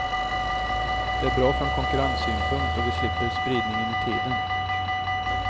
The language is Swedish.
Det är bra från konkurrenssynpunkt och vi slipper spridningen i tiden.